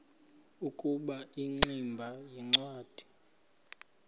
ukuba ingximba yincwadi